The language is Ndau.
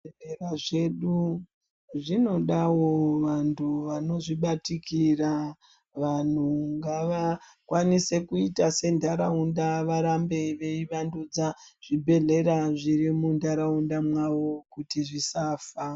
Zvibhedhlera zvedu zvinoda wo vantu vanozvibatikira. Vanhu ngakwanise kuita senharaunda varambe veivandudza zvibhedhlera zviri munharaunda mwavo kuti zvisafa.